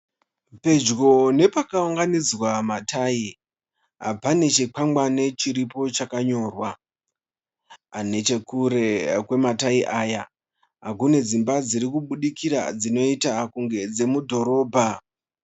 Pedyo nepakaunganidzwa matai, pane chikwangwani chiripo chakanyorwa. Nechekure kwematai aya kune dzimba dzirikubudikira dzinoita kunge dzemudhorobha.